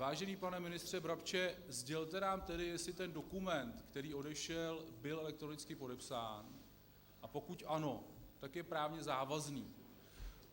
Vážený pane ministře Brabče, sdělte nám tedy, jestli ten dokument, který odešel, byl elektronicky podepsán, a pokud ano, tak je právně závazný.